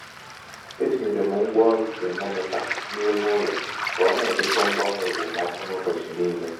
e tinyere m ngwaọrụ tamometa n'ime ụlọ ka ọ na-edekọ mgbanwe okpomọkụ n'ụbọchị niile.